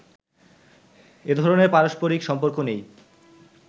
এ ধরনের পারস্পরিক সম্পর্ক নেই